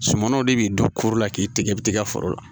Sumanw de b'i don koro la k'i tigɛ bɛ tigɛ foro la